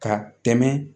Ka tɛmɛ